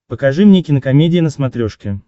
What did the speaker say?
покажи мне кинокомедия на смотрешке